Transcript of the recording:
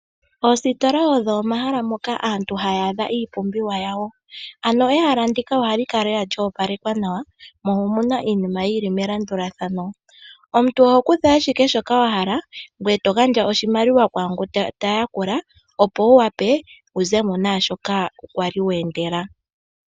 Oositola odho omahala moka aantu haya adha iipumbiwa yawo. Ehala ndika ohali kala lela lyo opalekwa nawa, mo omu na iinima yi li melandulathano. Omuntu oho kutha ashike shoka wa hala ngoye to gandja oshimaliwa kwaangu ta yakula, opo wu wape wu ze mo naa shoka wa li we endela.